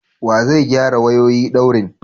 Wa zai gyara wayoyi daurin?